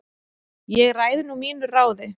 Ég ræð nú mínu ráði